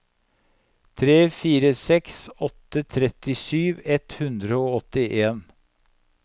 tre fire seks åtte trettisju ett hundre og åttien